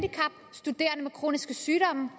studerende med kroniske sygdomme